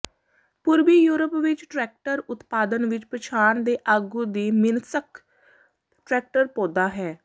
ਪੂਰਬੀ ਯੂਰਪ ਵਿਚ ਟਰੈਕਟਰ ਉਤਪਾਦਨ ਵਿਚ ਪਛਾਣ ਦੇ ਆਗੂ ਦੀ ਮਿਨ੍ਸ੍ਕ ਟਰੈਕਟਰ ਪੌਦਾ ਹੈ